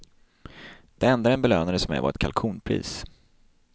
Det enda den belönades med var ett kalkonpris.